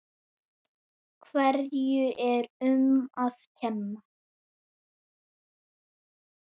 Hverju er um að kenna?